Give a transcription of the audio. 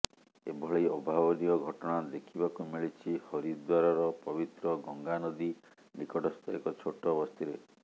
ଏଭଳି ଅଭାବନୀୟ ଘଟଣା ଦେଖିବାକୁ ମିଳିଛି ହରିଦ୍ୱାରର ପବିତ୍ର ଗଙ୍ଗା ନଦୀ ନିକଟସ୍ଥ ଏକ ଛୋଟ ବସ୍ତିରେ